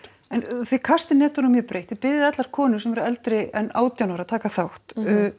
en þið kastið netunum mjög breitt biðjið allar konur eldri en átján ára að taka þátt